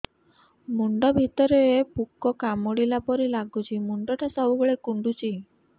ମୁଣ୍ଡ ଭିତରେ ପୁକ କାମୁଡ଼ିଲା ପରି ଲାଗୁଛି ମୁଣ୍ଡ ଟା ସବୁବେଳେ କୁଣ୍ଡୁଚି